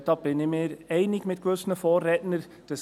Da bin ich mir mit gewissen Vorrednern einig.